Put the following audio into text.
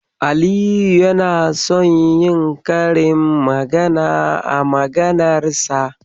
Aliyu yana son yi karin magana a maganar sa.